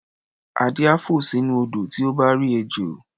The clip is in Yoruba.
Adé á fò sínú odò tí ó bá rí ejò.